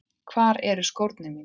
Hvar eru skórnir mínir?